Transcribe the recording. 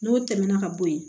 N'o tɛmɛna ka bo yen